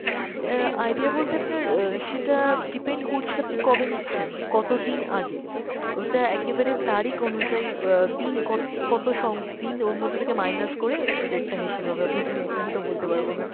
অ্যাঁ idea বলতে আপনার অ্যাঁ সেটা depend করছে আপনি কবে নিচ্ছেন, কত দিন আগে । ওটা একেবারে তারিখ অনুযায়ী অ্যাঁ দিন কত~ কত দিন ওর মধ্যে থেকে minus করে rate টা হিসেব হবে, আপনাকে আমি এখন তো বলতে পারবো না।